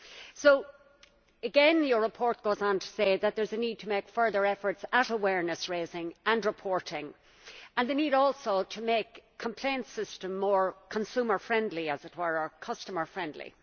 So again, your report goes on to say that there is a need to make further efforts at awareness raising and reporting, and a need to make the complaint system more consumer friendly, as it were, or customer friendly.